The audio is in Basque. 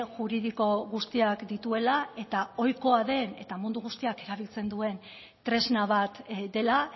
juridiko guztiak dituela eta ohikoa den eta mundu guztiak erabiltzen duen tresna bat dela